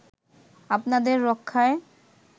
আপনাদের রক্ষায়